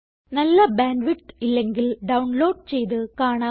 നല്ല bandwidth ഇല്ലെങ്കിൽ download ചെയ്ത് കാണാവുന്നതാണ്